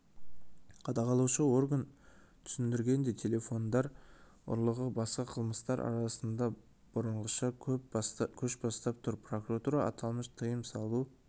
қадағалаушы орган түсіндіргендей телефондар ұрлығы басқа қылмыстар арасында бұрынғыша көш бастап тұр прокуратура аталмыш тыйым салу